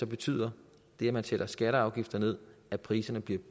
betyder det at man sætter skatter og afgifter ned at priserne bliver